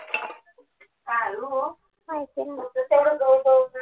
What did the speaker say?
माहिती नव्हतं